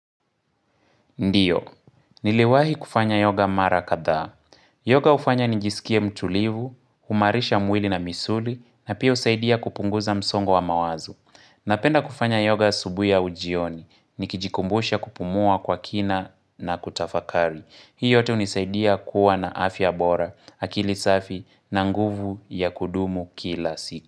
Ndiyo, niliwahi kufanya yoga mara kadhaa. Yoga hufanya nijisikie mtulivu, huimarisha mwili na misuli na pia husaidia kupunguza msongo wa mawazo. Napenda kufanya yoga asubuhi au jioni, nikijikumbusha kupumua kwa kina na kutafakari. Hii yote hunisaidia kuwa na afya bora. Akili safi na nguvu ya kudumu kila siku.